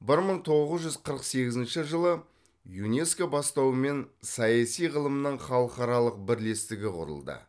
бір мың тоғыз жүз қырық сегізінші жылы юнеско бастауымен саяси ғылымның халықаралық бірлестігі құрылды